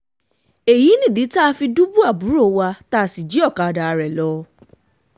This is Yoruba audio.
èyí nìdí tá a fi dùbú àbúrò wa tá a sì jí ọ̀kadà rẹ̀ lọ